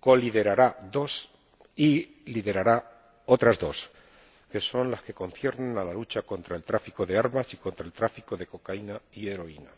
coliderará dos y liderará otras dos, que son las que conciernen a la lucha contra el tráfico de armas y contra el tráfico de cocaína y heroína.